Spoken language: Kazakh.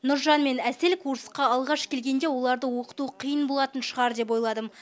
нұржан мен әсел курсқа алғаш келгенде оларды оқыту қиын болатын шығар деп ойладым